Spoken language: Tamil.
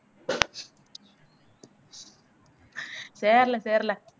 சரில சரில